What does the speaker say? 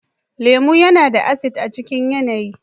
lemu yana da ”acidic" a cikin yanayi.